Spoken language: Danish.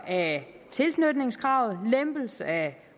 af tilknytningskravet en lempelse af